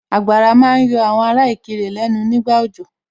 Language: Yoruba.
Àgbàrá ma ń yọ àwọn ará Ìkirè lẹ́nu nígbà òjò